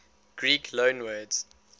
greek loanwords